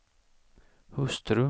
hustru